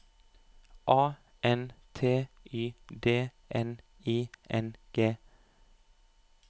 A N T Y D N I N G